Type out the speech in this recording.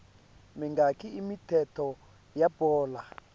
mingaki imithetho yebhola